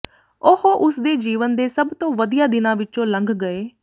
ਉਹ ਉਸ ਦੇ ਜੀਵਨ ਦੇ ਸਭ ਤੋਂ ਵਧੀਆ ਦਿਨਾਂ ਵਿੱਚੋਂ ਲੰਘ ਗਏ